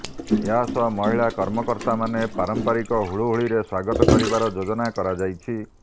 ଏହା ସହ ମହିଳା କର୍ମକର୍ତ୍ତାମାନେ ପାରମ୍ପରିକ ହୁଳହୁଳିରେ ସ୍ୱାଗତ କରିବାର ଯୋଜନା କରାଯାଇଛି